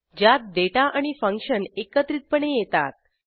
ज्यात डेटा आणि फंक्शन एकत्रितपणे येतात